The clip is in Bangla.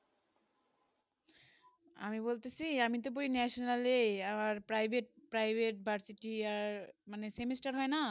আমি বলতেছি আমি তো পড়ি national এ আবার private private varsity আর মানে semester হয়ে না